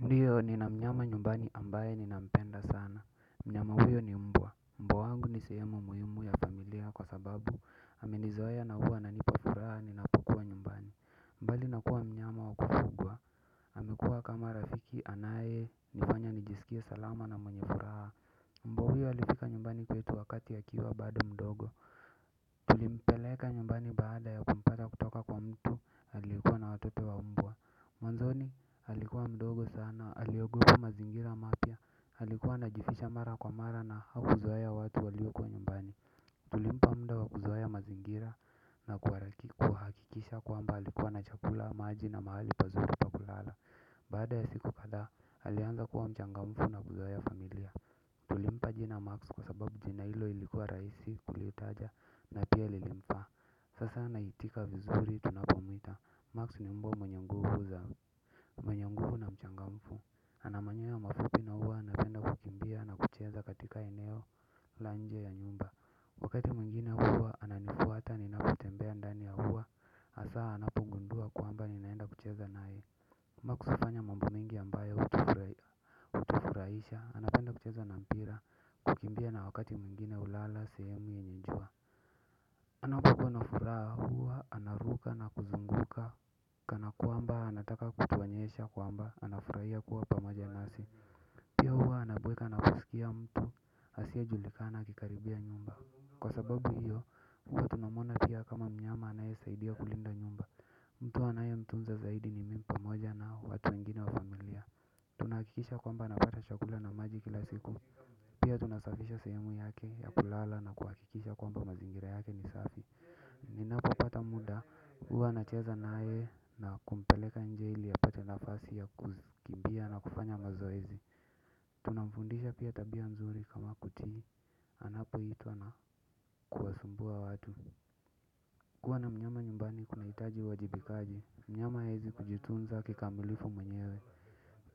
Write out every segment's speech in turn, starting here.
Ndiyo nina mnyama nyumbani ambaye nina mpenda sana. Mnyama huyo ni mbwa. Mbwa wangu ni sehemu muhimu ya familia kwa sababu, amenizoea na huwa ananipa furaha ninapokua nyumbani mbali na kuwa mnyama wa kufugwa, amekua kama rafiki anayenifanye nijisikie salama na mwenye furaha mbwa huyo alifika nyumbani kwetu wakati akiwa bado mdogo. Tulimpeleka nyumbani baada ya kumpata kutoka kwa mtu aliyekuwa na watoto wa umbwa. Mwanzoni alikuwa mdogo sana aliogopa mazingira mapya. Alikuwa anajificha mara kwa mara, na hakuzoea watu waliokuwa nyumbani tulimpa muda wa kuzoea mazingira, na kuharakiku, kuhakikisha kwamba alikuwa na chakula, maji na mahali pazuri pa kulala baada ya siku kadha alianza kuwa mchangamfu na kuzoea familia. Tulimpa jina Max, kwa sababu jina hilo ilikuwa rahisi kulitaja, na pia lilimfaa sasa anaitika vizuri tunapomuita, Max ni mbwa mwenye nguvu za, mwenye nguvu na mchangamfu ana manyoya mafupi na huwa anapenda kukimbia na kucheza katika eneo, la nje ya nyumba wakati mwingine huwa ananifuata ninapotembea ndani ya huwa hasa anapogundua kwamba ninaenda kucheza naye. Max hufanya mambo mengi ambayo hutufurahisha. Anapenda kucheza na mpira, kukimbia na wakati mwingine hulala sehemu yenye jua. Anapokuwa na furaha, huwa anaruka na kuzunguka, kana kwamba anataka kutuonyesha kwamba, anafurahia kuwa pamoja nasi. Pia huwa anabweka na kusikia mtu asiyejulikana akikaribia nyumba. Kwa sababu hiyo huwa tunamuona pia kama mnyama anayesaidia kulinda nyumba mtu anaye mtunza zaidi ni mimi pamoja na watu wengine wa familia. Tunakikisha kwamba anapata chakula na maji kila siku. Pia tunasafisha sehemu yake ya kulala, na kuhakikisha kwamba mazingira yake ni safi ninapopata muda, huwa nacheza naye na kumpeleka nje ili ya apate nafasi ya kukimbia na kufanya mazoezi. Tunamfundisha pia tabia nzuri, kama kutii, anapoitwa na kuwasumbua watu kuwa na mnyama nyumbani kunahitaji uwajibikaji, mnyama hawezi kujitunza kikamilifu mwenyewe,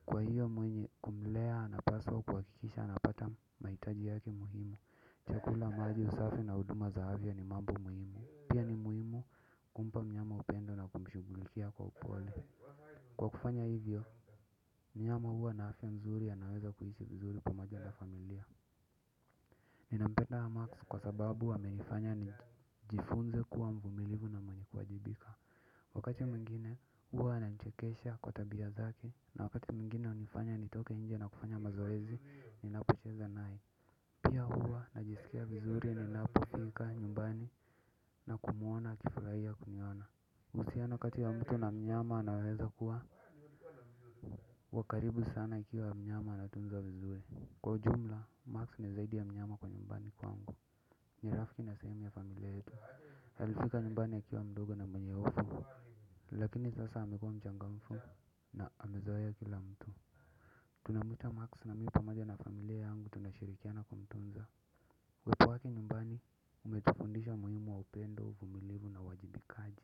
kwa hiyo mwenye kumlea anapaswa kuhakikisha anapata mahitaji yake muhimu chakula, maji, usafi na huduma za afya ni mambo muhimu. Pia ni muhimu kumpa mnyama upendo na kumshughulikia kwa upole. Kwa kufanya hivyo, mnyama huwa na afya nzuri anaweza kuishi vizuri pamoja na familia. Ninampenda Max kwa sababu amenifanya nijifunze kuwa mvumilivu na mwenye kuajibika wakati mwingine, huwa ananichekesha kwa tabia zake na wakati mwingine, hunifanya nitoke nje na kufanya mazoezi ninapocheza naye, pia huwa najisikia vizuri ninapofika nyumba na kumuona akifurahia kuniona uhusiano kati ya mtu na mnyama anaweza kuwa wa karibu sana ikiwa mnyama anatunzwa vizuri. Kwa ujumla, Max ni zaidi ya mnyama kwa nyumbani kwangu ni rafiki na sehemu ya familia yetu, alifika nyumbani akiwa mdogo na mwenye hofu lakini sasa amekua mchangamfu na amezoea kila mtu tunamuita Max na mimi pamoja na familia yangu tunashirikiana kumtunza, uwepo wake nyumbani, umetufundisha umuhimu wa upendo uvumilivu na uwajibikaji.